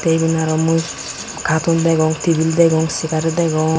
igun aro mui khatun degong tebil degong segar degong.